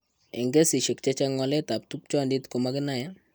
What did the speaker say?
Eng' kesishek chechang' waletab tupchondit ko makinae.